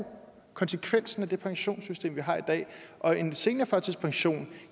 jo konsekvensen af det pensionssystem vi har i dag og en senere førtidspension